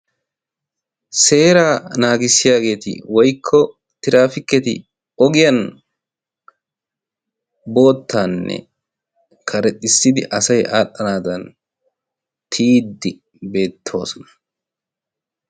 Seeraa naagissiyaageeti woykko tiraafikketi ogiyan boottaanne karexxissidi asay aadhdhanaadan tiyiddi beettoosona.